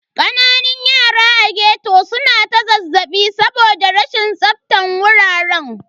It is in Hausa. Kananan yara a ghetto su na ta zazzaɓi saboda rashin tsaftan wuraren.